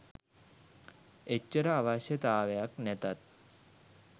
එච්චර අවශ්‍යතාවයක් නැතත්